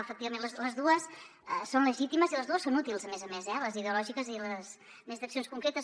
efectivament les dues són legítimes i les dues són útils a més a més eh les ideològiques i les més d’accions concretes